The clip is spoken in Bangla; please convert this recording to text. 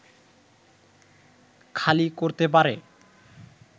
খালি করতে পারে